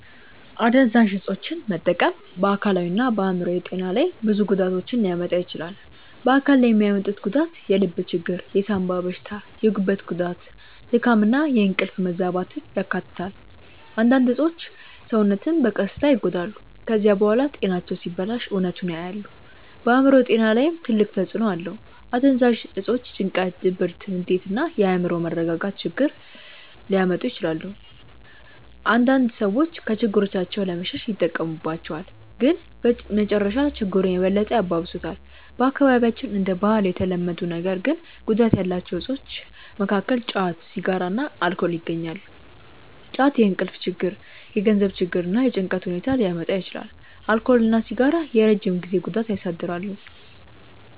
አደንዛዥ እፆችን መጠቀም በአካላዊና በአእምሮአዊ ጤና ላይ ብዙ ጉዳቶችን ሊያመጣ ይችላል። በአካል ላይ የሚያመጡት ጉዳት የልብ ችግር፣ የሳንባ በሽታ፣ የጉበት ጉዳት፣ ድካም እና የእንቅልፍ መዛባትን ያካትታል። አንዳንድ እፆች ሰውነትን በቀስታ ይጎዳሉ። ከዚያ በኋላ ጤናቸው ሲበላሽ እውነቱን ያያሉ። በአእምሮ ጤና ላይም ትልቅ ተጽእኖ አለው። አደንዛዥ እፆች ጭንቀት፣ ድብርት፣ ንዴት እና የአእምሮ መረጋጋት ችግር ሊያመጡ ይችላሉ። አንዳንድ ሰዎች ከችግሮቻቸው ለመሸሽ ይጠቀሙባቸዋል፣ ግን በመጨረሻ ችግሩን የበለጠ ያባብሱታል። በአካባቢያችን እንደ ባህል የተለመዱ ነገር ግን ጉዳት ያላቸው እፆች መካከል ጫት፣ ሲጋራ እና አልኮል ይገኛሉ። ጫት የእንቅልፍ ችግር፣ የገንዘብ ችግር እና የጭንቀት ሁኔታ ሊያመጣ ይችላል። አልኮል እና ሲጋራ የረጅም ጊዜ ጉዳት ያሳድራሉ።